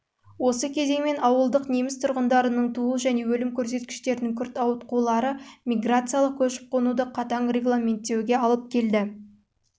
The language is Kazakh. осы кезеңмен ауылдық неміс тұрғындарының туу және өлім көрсеткіштерінің күрт ауытқулары миграциялық көшіп-қонуды қатаң регламенттеу оның жастық жыныстық